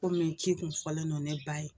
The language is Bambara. Kɔmi ci kun fɔlen don ne ba ye.